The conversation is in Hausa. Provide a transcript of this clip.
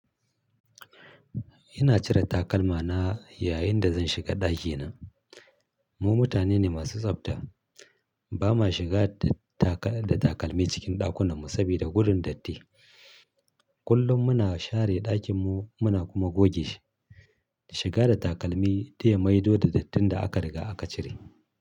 Ina cire takalma na yayin da zan shiga ɗakina. Mu mutane ne masu tsafta. Ba ma shiga da takalmi cikin ɗakunan mu sabida gudun datti. Kullum muna share ɗakin mu muna kuma goge shi. Shiga da takalmi tiya maido da dattin da aka riga aka cire.